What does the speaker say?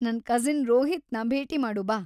ನನ್‌ ಕಸಿನ್‌ ರೋಹಿತ್‌ನ ಭೇಟಿ ಮಾಡು ಬಾ.